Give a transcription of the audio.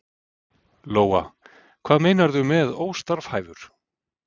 Lóa: Hvað meinarðu með óstarfhæfur?